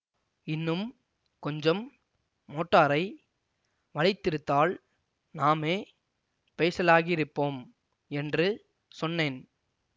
இன்னும் கொஞ்சம் மோட்டாரை வளைத்திருந்தால் நாமே பைஸலாகியிருப்போம் என்று சொன்னேன்